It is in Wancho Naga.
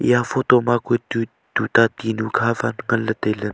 ya photo ma ku tuta tinu kha phat nganley tailey.